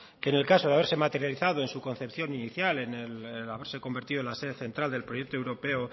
que en el caso de haberse materializado en su concepción inicial el haberse convertido en la sede central del proyecto europeo